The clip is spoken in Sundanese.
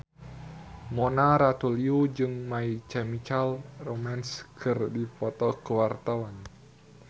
Mona Ratuliu jeung My Chemical Romance keur dipoto ku wartawan